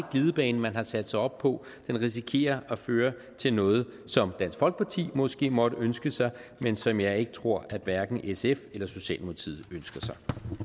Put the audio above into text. glidebane man har sat sig op på den risikerer at føre til noget som dansk folkeparti måske måtte ønske sig men som jeg ikke tror at hverken sf eller socialdemokratiet ønsker sig